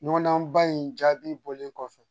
Ɲɔgɔndan in jaabi bɔlen kɔfɛ